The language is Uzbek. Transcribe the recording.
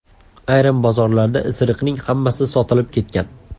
Ayrim bozorlarda isiriqning hammasi sotilib ketgan.